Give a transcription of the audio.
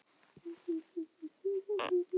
Þetta var aðeins óbein afleiðing rann